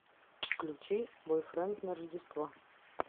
включи бойфренд на рождество